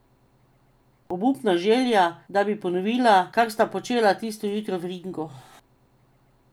Obupna želja, da bi ponovila, kar sta počela tisto jutro v ringu.